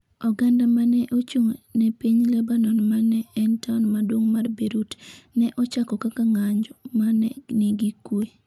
Oganda ma ne ochung’ ne piny Lebanon ma ne en taon maduong’ mar Beirut, ne ochako kaka ng’anjo ma ne nigi kuwe